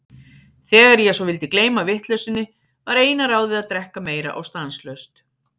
Þegar ég svo vildi gleyma vitleysunni, var eina ráðið að drekka meira og stanslaust.